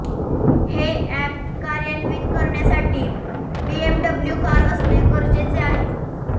हे अॅप कार्यान्वित करण्यासाठी बीएमडब्ल्यू कार असणे गरजेचे आहे